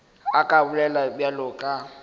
a ka bolela bjalo ka